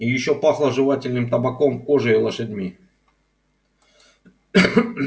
и ещё пахло жевательным табаком кожей и лошадьми